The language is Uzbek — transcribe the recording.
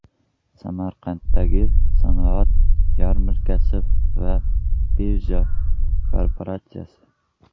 Samarqanddagi sanoat yarmarkasi va birja kooperatsiyasi.